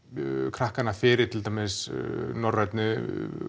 krakkana fyrir til dæmis norrænni